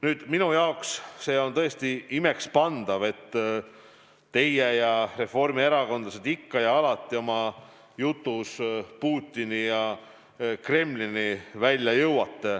Nüüd, minu jaoks on tõesti imekspandav, et teie ja teised reformierakondlased ikka ja alati oma jutus Putini ja Kremlini välja jõuate.